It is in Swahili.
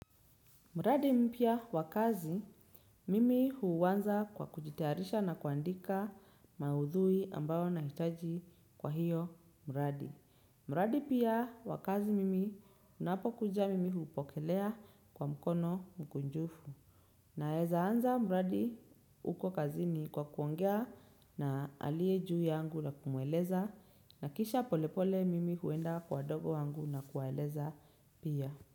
Mradi mpya wa kazi, mimi huanza kwa kujitayarisha na kuandika maudhui ambayo nahitaji kwa hiyo muradi. Mradi pia wa kazi mimi, unapokuja mimi hupokelea kwa mkono mkunjufu. Naezaanza mradi uko kazini kwa kuongea na aliye juu yangu na kumueleza. Na kisha polepole mimi huenda kwa wadogo wangu na kuwaeleza pia.